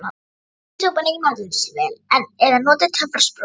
Maukið súpuna í matvinnsluvél eða notið töfrasprota.